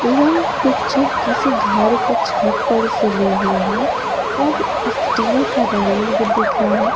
यह पिक्चर किसी घर के छत पर से ली हुई है और स्टील का रेलिंग भी दिख रहा है।